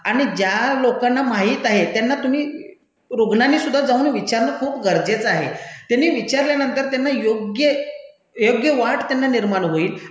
आणि ज्या लोकांना माहित आहे त्यांना तुम्ही, रुग्णांनीसुद्धा जाऊन विचारणं खूप गरजेचं आहे. त्यांनी विचारल्यानंतर त्यांना योग्य, योग्य वाट त्यांना निर्माण होईल